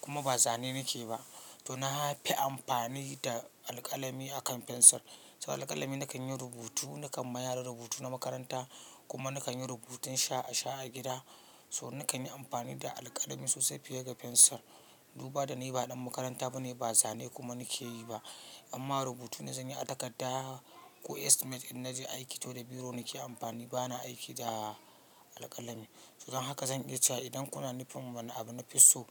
kuma ba zane nake ba. To na fi amfani da alƙalami a kan fensir. So alƙalami nakan yi rubutu, nakan ma yara rubutu na makaranta kuma nakan yi rubutun sha a sha a gida. So nakan yi amfani da alƙalami sosai fiye da fensir. Duba da ni ba ɗan makaranta bane ba zane kuma nake yi ba. Amma rubutu na zanyi a takarda ko estimate idan na je aiki toh da biro nake amfani bana aiki da alƙalami. So don haka zan iya cewa idan kuna nufin wani abu nafi so,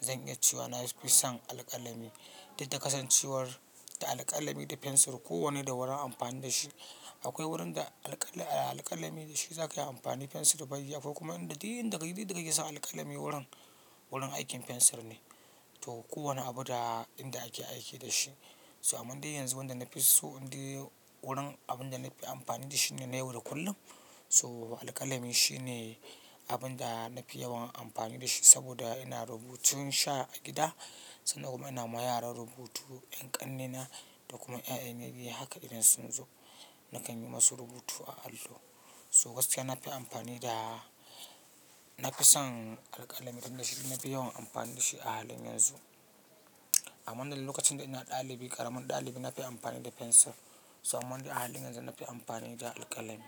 zan iya cewa na fi son alƙalami. Duk da kasancewar da alƙalami da fensir kowanne da wurin anfani da shi. Akwai wurin da alƙalami da shi za ka yi amfani fensir baya yi. Akwai kuma duk inda duk inda ka yi sa alƙalami wurin, wurin aikin fensir ne. To kowane abu da inda ake aiki da shi. So amman de yanzu wanda na fi so, indai wurin abun da nafi amfani da shi ne na yau da kullum. So alƙalami shi ne abun da na fi yawan amfani da shi saboda ina rubutun sha a gida sannan kuma ina ma yara rubutu 'yan ƙannena da kuma 'ya'yana biyu haka idan sun zo nakan yi masu rubutu a allo. So gaskiya na fi amfani da, na fi son alƙalami duk da shi na fi yawan amfani da shi a halin yanzu. Amman lokacin da ina ɗalibi, ƙaramin ɗalibi na fi amfani da fensir. So amande a hali yanzu na fi amfani da alƙalami.